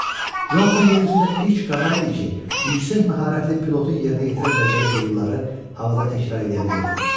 Və Conatan yer üzündə ilk qağayı idi ki, yüksək məharətli pilotun yerinə yetirə biləcəyi fiqurları havada təkrar eləyə bilirdi.